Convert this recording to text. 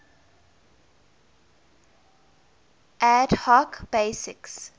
ad hoc basis